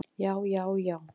Já, já, já, já!